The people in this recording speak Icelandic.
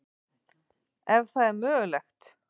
Ef það er mögulegt.